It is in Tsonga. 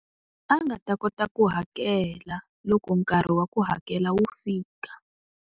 A nga ta kota ku hakela, loko nkarhi wa ku hakela wu fika.